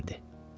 Yemək verdi.